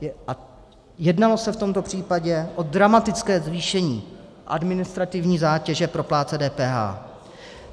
Jednalo se v tomto případě o dramatické zvýšení administrativní zátěže pro plátce DPH.